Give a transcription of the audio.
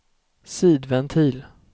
sidventil